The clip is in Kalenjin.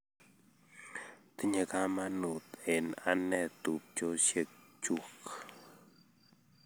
Tinye kamanut eng' ane tupchosyek chuk